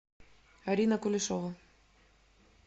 арина кулешова